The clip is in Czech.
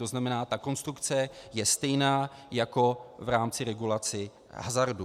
To znamená, ta konstrukce je stejná jako v rámci regulace hazardu.